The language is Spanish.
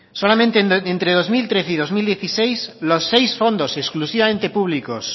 solamente entre dos mil trece y dos mil dieciséis los seis fondos exclusivamente públicos